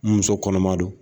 N muso kɔnɔma don